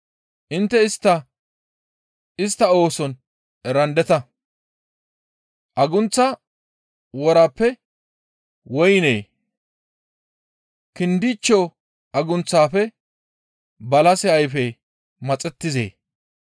Intte istta, istta ooson erandeta. Agunththa worappe woyney, kindichcho agunththafe balase ayfey maxettizee?